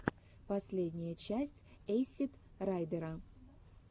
последняя часть эйсид райдера